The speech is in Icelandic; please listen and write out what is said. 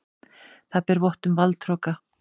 Það ber vott um valdhroka.